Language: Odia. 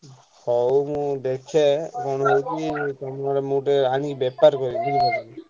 ହଉ ମୁଁ ଦେଖେ କଣ ହଉଛି ମୁଁ ଟିକେ ଆଣି ବେପାର କରିବି ବୁଝିଲ ତମେ?